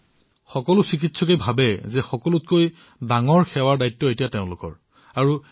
কিন্তু সকলো চিকিৎসকে জীৱনৰ সকলোতকৈ বৃহৎ সেৱাৰ কামৰ দায়িত্ব পাইছে বুলি ভাবে নে